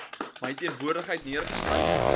my teenwoordigheid neergeskryf